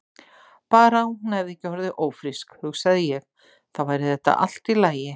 Bara að hún hefði ekki orðið ófrísk, hugsaði ég, þá væri þetta allt í lagi.